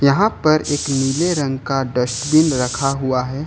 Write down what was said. यहां पर एक नीले रंग का डस्टबिन रखा हुआ है।